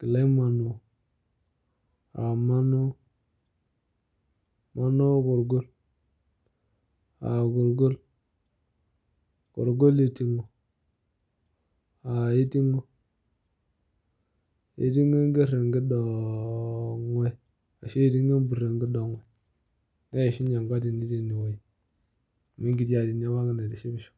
Gilai manoi. Ah manoi? Manoi korgol. Ah korgol? Korgol iting'o. Ah iting'o? Iting'o enker enkidoong'oi. Ashu iting'o empur enkidong'oi. Neishunye enkatini tinewueji. Amu enkti atini apake naitishipisho.